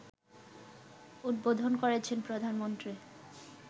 উদ্বোধন করেছেন প্রধানমন্ত্রী